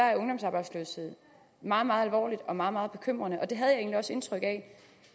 er ungdomsarbejdsløshed meget meget alvorligt og meget meget bekymrende og det havde jeg egentlig også indtryk af